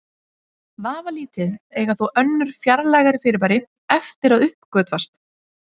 Vafalítið eiga þó önnur fjarlægari fyrirbæri eftir að uppgötvast.